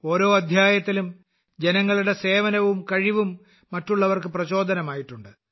ഓരോ അദ്ധ്യായത്തിലും ജനങ്ങളുടെ സേവനവും കഴിവും മറ്റുള്ളവർക്ക് പ്രചോദനമായിട്ടുണ്ട്